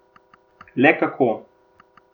Le kako?